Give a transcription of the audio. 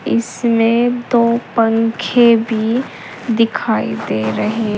इसमें दो पंखे भी दिखाई दे रहे।